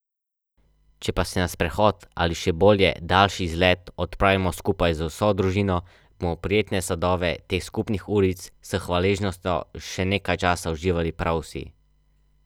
Kot je razvidno iz poročila o uresničevanju stanovanjskega programa, bo vsako veliko do petdeset kvadratnih metrov.